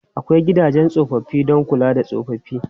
Akwai gidajen tsofaffi don kula da tsofaffi.